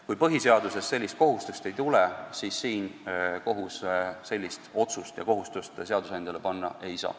Kui põhiseadusest sellist kohustust ei tulene, siis kohus sellist otsust teha ja kohustust seadusandjale panna ei saa.